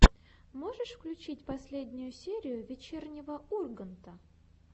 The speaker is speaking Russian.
можешь включить последнюю серию вечернего урганта